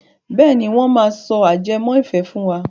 Bẹ́ẹ̀ni, wọ́n máa sọ ajẹmọ́ ìfẹ́ fún wa.